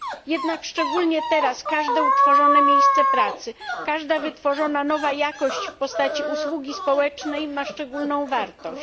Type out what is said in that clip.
Jednak szczególnie teraz każde utworzone miejsce pracy, każda wytworzona nowa jakość w postaci usługi społecznej ma szczególną wartość.